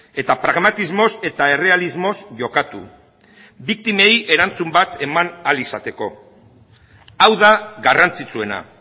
eta pragmatismoz eta errealismoz jokatu biktimei erantzun bat eman ahal izateko hau da garrantzitsuena